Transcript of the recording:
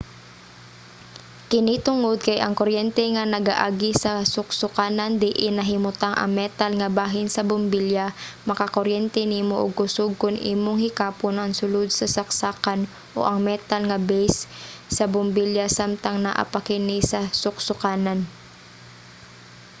kini tungod kay ang kuryente nga nagaagi sa suksokanan diin nahimutang ang metal nga bahin sa bombilya makakuryente nimo og kusog kon imong hikapon ang sulod sa saksakan o ang metal nga base sa bombilya samtang naa pa kini sa suksokanan